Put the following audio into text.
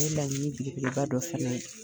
Nin ye laɲini belebeleba dɔ fana ye.